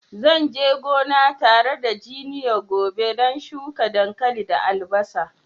Zan je gona tare da junior gobe don shuka dankali da albasa.